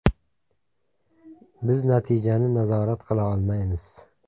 Biz natijani nazorat qila olmaymiz.